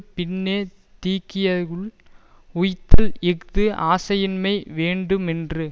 பின்னே தீக்கதியுள் உய்த்தல் இஃது ஆசையின்மை வேண்டுமென்றது